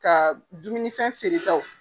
Ka dumunifɛn feere taw.